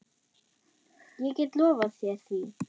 Ég get lofað þér því.